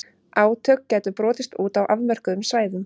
Átök gætu brotist út á afmörkuðum svæðum.